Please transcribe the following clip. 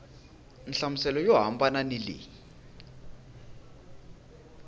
nhlamuselo yo hambana ni leyi